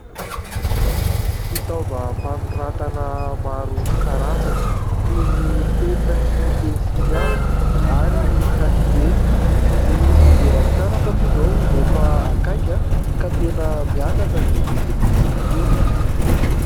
Fitaovam-panoratana maro karazany toy ny penina sy pensilihazo ary kahie. Ny fidiran'ny mpianatra moa izao efa akaiky ka tena miakatra ny vidin'izy itony.